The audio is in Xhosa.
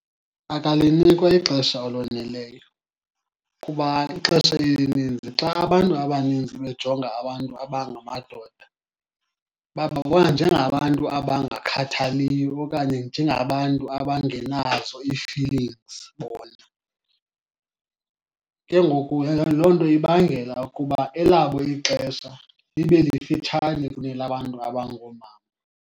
Akalinikwa ixesha eloneleyo, kuba ixesha elininzi xa abantu abaninzi bejonga abantu abangamadoda bababona njengabantu abangakhathaliyo okanye njengabantu abangenazo ii-feelings bona. Ke ngoku loo nto ibangela ukuba elabo ixesha libe lifitshane kunelabantu abangoomama.